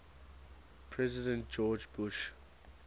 president george bush